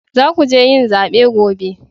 Za ku je yin zabe gobe